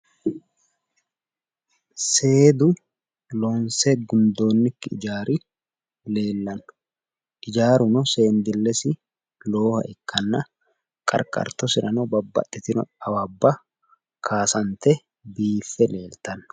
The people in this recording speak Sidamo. Seedu loonse gundoonnikki ijaari leellanno. Ijaatuno seendillesi lowoha ikkanna qarqartosirano babbaxitino awabba kaasante biiffe leeltanno.